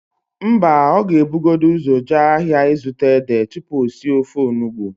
Mba, ọ ga-ebugodu ụzọ jee ahịa ịzụta édè tupu o sie ofe onugbo.